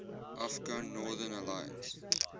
afghan northern alliance